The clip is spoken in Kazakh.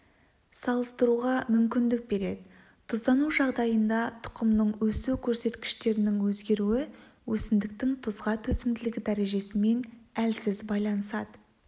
салыстыруға мүмкіндік береді тұздану жағдайында тұқымның өсу көрсеткіштерінің өзгеруі өсімдіктің тұзға төзімділігі дәрежесімен әлсіз байланысады